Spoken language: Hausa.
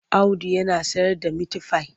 Audu yana sayarda mitifai.